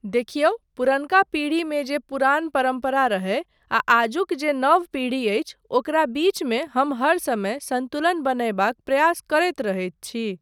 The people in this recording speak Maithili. देखिऔ पुरनका पीढ़ीेमे जे पुरान परम्परा रहय आ आजुक जे नव पीढ़ी अछि ओकरा बीचमे हम हर समय सन्तुलन बनयबाक प्रयास करैत रहैत छी।